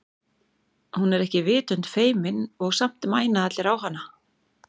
Hún er ekki vitund feimin og samt mæna allir á hana.